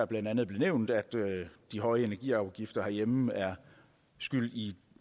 blandt andet nævnt at de høje energiafgifter herhjemme er skyld i